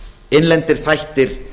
innlendir þættir